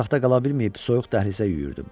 Otaqda qala bilməyib soyuq dəhlizə yüyürdüm.